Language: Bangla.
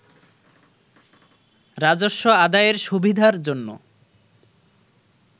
রাজস্ব আদায়ের সুবিধার জন্য